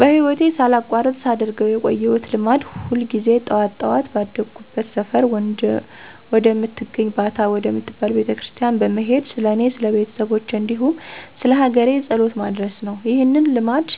በህይወቴ ሳላቋርጥ ሳደርገው የቆየሁት ልማድ ሁል ጊዜ ጠዋት ጠዋት ባደኩበት ሰፈር ወደምትገኝ ባታ ወደምትባል ቤተክርስቲያን በመሄድ ስለኔ፣ ስለቤተሰቦቼ፣ እንዲሁም ስለሀገሬ ጸሎት ማድረስ ነው። ይህንን ልማድ